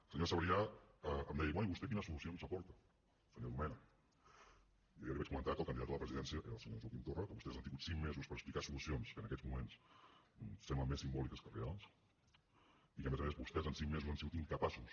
el senyor sabrià em deia bé i vostè quines solucions aporta senyor domènech jo ja li vaig comentar que el candidat a la presidència era el senyor joaquim torra que vostès han tingut cinc mesos per explicar solucions que en aquests moments semblen més simbòliques que reals i que a més a més vostès en cinc mesos han sigut incapaços